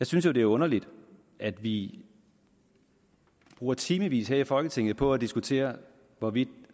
synes jo det er underligt at vi bruger timevis her i folketinget på at diskutere hvorvidt